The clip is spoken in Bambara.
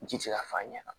Ji ti se ka fɔ a ɲɛna